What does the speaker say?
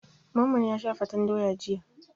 Mamman ya sha fatan doya jiya.